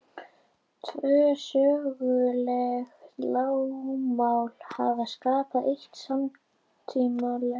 Tvö söguleg lögmál hafa skapað eitt samtímalegt.